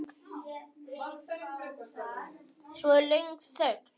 Svo er löng þögn.